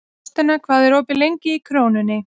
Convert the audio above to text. Þórsteina, hvað er opið lengi í Krónunni?